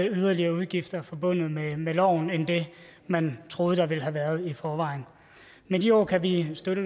yderligere udgifter forbundet med med loven end det man troede der ville have været i forvejen med de ord kan vi støtte